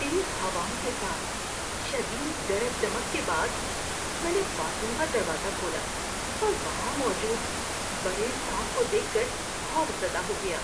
تیز ہواؤں کے ساتھ شدید گرج چمک کے بعد، میں نے باتھ روم کا دروازہ کھولا اور وہاں موجود بڑے سانپ کو دیکھ کر خوف زدہ ہو گیا۔